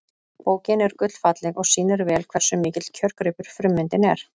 bókin er gullfalleg og sýnir vel hversu mikill kjörgripur frummyndin er